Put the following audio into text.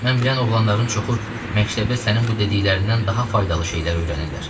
Mən bilən oğlanların çoxu məktəbdə sənin bu dediklərindən daha faydalı şeylər öyrənirlər.